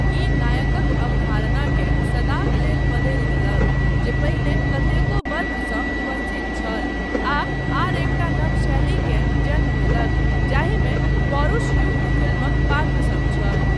ई नायकक अवधारणाकेँ सदाक लेल बदलि देलक जे पहिने कतेको वर्षसँ उपस्थित छल आ आर एकटा नव शैलीकेँ जन्म देलक जाहिमे पौरुष युक्त फिल्मक पात्र सब छल।